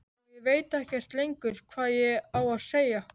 Og ég veit ekkert lengur hvað ég á að segja.